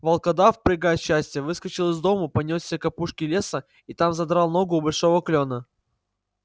волкодав прыгая от счастья выскочил из дому понёсся к опушке леса и там задрал ногу у большого клёна